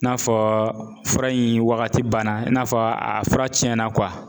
I n'a fɔ fura in wagati banna i n'a fɔ a fura cɛna kuwa